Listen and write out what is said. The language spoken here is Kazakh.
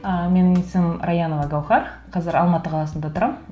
і менің есімім раянова гауһар қазір алматы қаласында тұрамын